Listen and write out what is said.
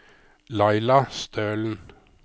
Laila Stølen